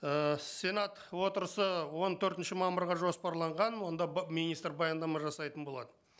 ыыы сенат отырысы он төртінші мамырға жоспарланған онда министр баяндама жасайтын болады